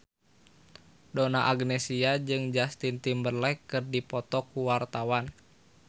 Donna Agnesia jeung Justin Timberlake keur dipoto ku wartawan